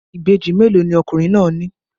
Ìbejì mélòó ni ọkùnrin náà ní?